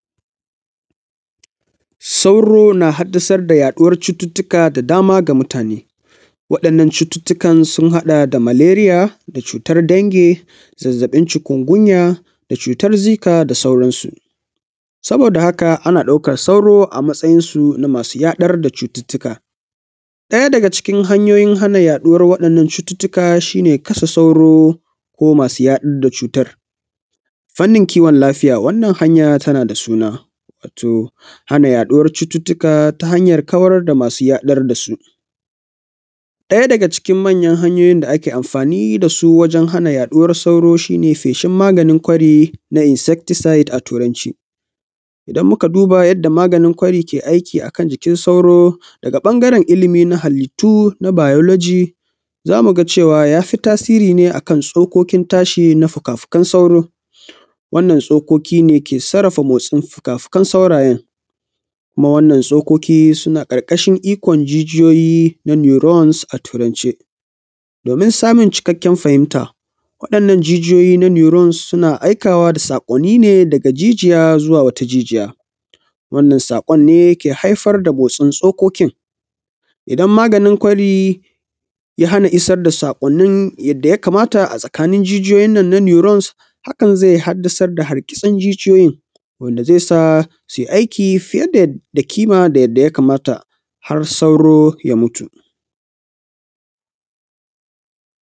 Sauro na haddasarr da yaɗuwar cututtuka daban-daban ga mutane. Waɗannan cututtukan sun haɗa da maleria da cutar dange da zazzabin cutar gunya da xutar zika da sauransu. Saboda haka ana daukar sauro a matsayinsu na masu yaɗar da cuttuttuka. Ɗaya daga cikin hanyoyin hana yaɗuwar cututtuka shi ne kashe sauro masu yaɗar da cutar fannin kiwon lafiya. Wannan hanya tana da suna wato hana yaɗuwar cututtuka ta hanyar kawar da masu yaɗar da su. Daya daga cikin manyan hanyoyin da ake amfani da su don hana yaɗuwar sauro shi ne feshin magani kaari na insecticide da turanci. Idan muka duba yadda maganin ƙwari ke aiki a cikin sauro, daga ɓangaren ilimi na halittu na biology za mu ga cewa ya fi tasiri ne a kan tsokokin tashi na fuka-fukan sauro, wannan tskoki ne ke sarrafa motsin fuka-fukan saurayen kuma wannan tsokoki suna ƙarƙashin ikon jijiyoyi na neurons a turance, domin samun cikakken fahimta waɗannan jijiyo na neurons suna aikawa da sakonni ne daga jijiya zuwa wata jijiya. Wannan sakon ne ke haifar da su cikin tsokokin isan maganin ƙwari ya hana isar da sakwannin da ya kamata. Hakan zai haddasa hargitsin jijiyoyin wanda zai sa su yi aiki fiye da kima kamar yadda ya kamata har sauro ya mutu.